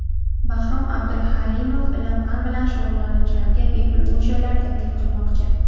Bahrom Abduhalimov ilm-fan bilan shug‘ullanuvchilarga bepul uy-joylar taklif qilmoqchi.